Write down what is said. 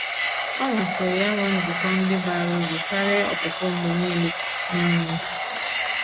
Ọ masịrị ya ịnwe nzukọ ndị bara ụrụ karịa ọpụpụ mgbe niile n'enweghị isi.